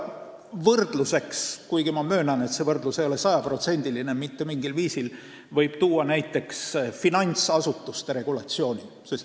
Võrdluseks – kuigi ma möönan, et see võrdlus mitte mingil viisil sada protsenti ei sobi – võib tuua näiteks finantsasutuste regulatsiooni.